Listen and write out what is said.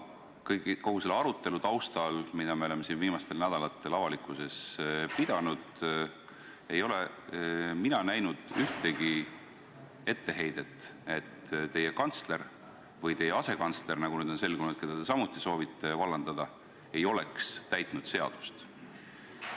Kogu selle arutelu taustal, mida me oleme siin viimastel nädalatel avalikkuses pidanud, ei ole mina näinud ühtegi etteheidet, et teie kantsler või teie asekantsler, keda, nagu nüüd on selgunud, te samuti soovite vallandada, ei oleks täitnud seadust.